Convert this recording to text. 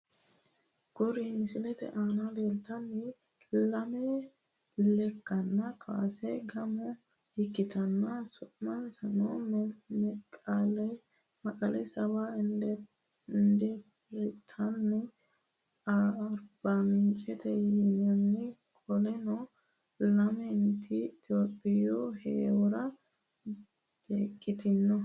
Kuri misilete aana leeltannori lame lekkate kaase gaamo ikkitanni su'minsano meqele 70 indertanna arbamincete yinanni qoleno lamenti itohpiyujawiidi heewora beeqqitanno